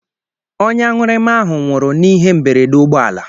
Onye aṅụrịma ahụ nwụrụ n'ihe mberede ụgbọala.